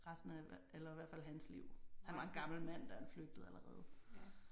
Resten af eller i hvert fald hans liv. Han var en gammel mand da han flygtede allerede